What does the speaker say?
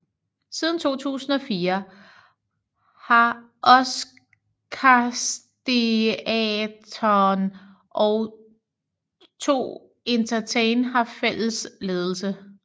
Siden 2004 har Oscarsteatern og 2Entertain haft fælles ledelse